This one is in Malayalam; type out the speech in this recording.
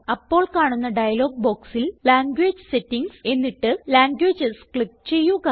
അപ്പോൾ കാണുന്ന ഡയലോഗ് ബോക്സിൽ ലാംഗ്വേജ് സെറ്റിംഗ്സ് എന്നിട്ട് ലാംഗ്വേജസ് ക്ലിക്ക് ചെയ്യുക